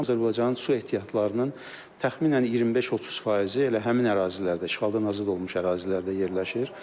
Azərbaycan su ehtiyatlarının təxminən 25-30 faizi elə həmin ərazilərdə, işğaldan azad olunmuş ərazilərdə yerləşir.